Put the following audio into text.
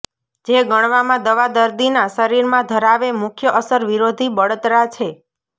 જે ગણવામાં દવા દર્દીના શરીરમાં ધરાવે મુખ્ય અસર વિરોધી બળતરા છે